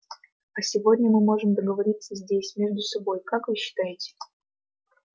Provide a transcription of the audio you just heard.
а сегодня мы можем договориться здесь между собой как вы считаете